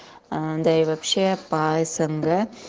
да и вообще по снг